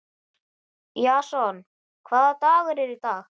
Jason, hvaða dagur er í dag?